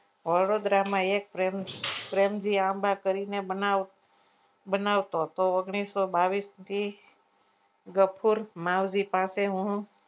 વડોદરામાં એક ક પ્રેમજી આંબા કરીને બનાવતો તો ઓગણીસો બાવીસ થી ગફુર માવજી પાસે હું